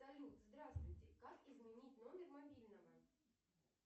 салют здравствуйте как изменить номер мобильного